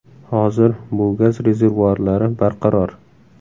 Hozir bu gaz rezervuarlari barqaror.